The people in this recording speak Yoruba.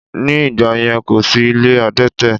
Ní ìgbàyẹn, kò sí ilé adẹ́tẹ̀